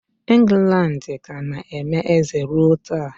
England ka na-eme eze ruo taa.